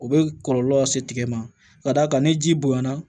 U bɛ kɔlɔlɔ lase ma ka d'a kan ni ji bonya na